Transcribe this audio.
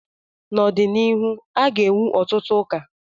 n'ọdịnihu, a ga-ewu ọtụtụ ụka